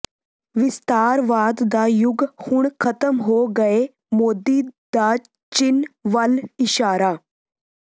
ਵਿਸਤਾਰਵਾਦ ਦਾ ਯੁੱਗ ਹੁਣ ਖ਼ਤਮ ਹੋ ਗਿਐ ਮੋਦੀ ਦਾ ਚੀਨ ਵਲ ਇਸ਼ਾਰਾ